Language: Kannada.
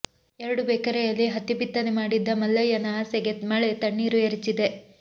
ಎರಡು ಎಕರೆಯಲ್ಲಿ ಹತ್ತಿ ಬಿತ್ತನೆ ಮಾಡಿದ್ದ ಮಲ್ಲಯ್ಯನ ಆಸೆಗೆ ಮಳೆ ತಣ್ಣೀರು ಎರಚಿದೆ